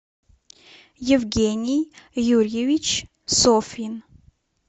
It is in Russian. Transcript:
евгений юрьевич софьин